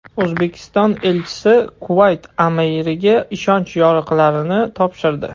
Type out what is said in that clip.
O‘zbekiston elchisi Kuvayt amiriga ishonch yorliqlarini topshirdi.